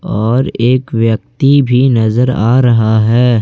और एक व्यक्ति भी नजर आ रहा है।